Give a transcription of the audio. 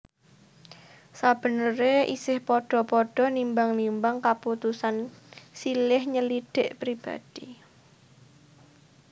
Sabeneré isih padha padha nimbang nimbang kaputusan silih nyelidhik pribadi